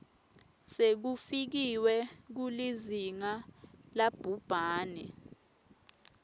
sekufikiwe kulizinga labhubhane